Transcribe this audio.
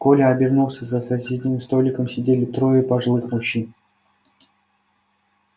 коля обернулся за соседним столиком сидели трое пожилых мужчин